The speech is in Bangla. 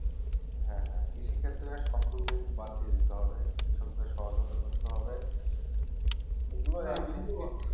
কৃষি ক্ষেত্রে সব ডুকমিটি বাদ দিয়ে দিতে হবে কৃষক দের সহায়তা করতে হবে